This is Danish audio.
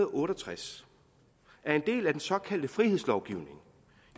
otte og tres er en del af den såkaldte frihedslovgivning